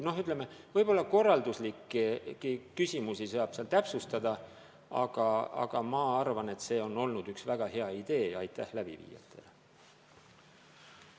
Ütleme, korralduslikke küsimusi saab täpsustada, aga üldiselt ma arvan, et see on olnud üks väga hea idee ja aitäh selle elluviijatele!